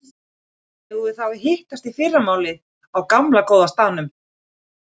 Eigum við þá að hittast í fyrramálið á gamla, góða staðnum?